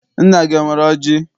Nna gị enwere ọjị?